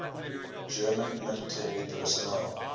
german military personnel